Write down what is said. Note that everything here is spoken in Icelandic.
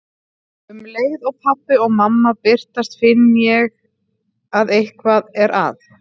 Um leið og pabbi og mamma birtast finn ég að eitthvað er að.